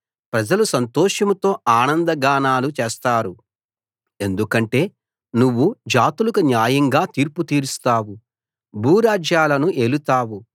ప్రజలు సంతోషంతో ఆనందగానాలు చేస్తారు ఎందుకంటే నువ్వు జాతులకు న్యాయంగా తీర్పు తీరుస్తావు భూరాజ్యాలను ఏలుతావు